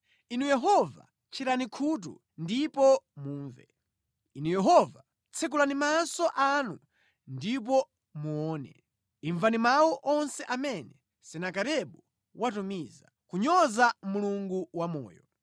Inu Yehova tcherani khutu ndipo mumve. Inu Yehova, tsekulani maso anu ndipo muone. Imvani mawu onse amene Senakeribu watumiza, kunyoza Mulungu wamoyo.